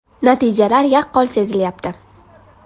Natijalar yaqqol sezilyapti.